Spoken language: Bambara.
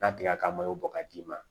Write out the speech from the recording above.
N'a tigɛra ka bɔ ka d'i ma